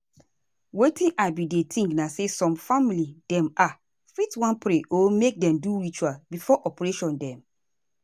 wetin i bin dey think na say some family dem ah fit wan pray or make dem do ritual before operation dem.